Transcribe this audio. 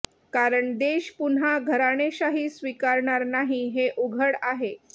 कारण देश पुन्हा घराणेशाही स्वीकारणार नाही हे उघड आहे